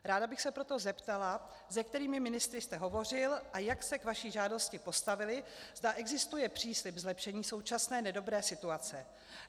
Ráda bych se proto zeptala, se kterými ministry jste hovořil a jak se k vaší žádosti postavili, zda existuje příslib zlepšení současné nedobré situace.